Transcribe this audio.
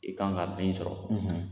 I kan ka min sɔrɔ